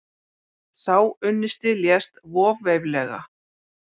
Sá unnusti lést voveiflega.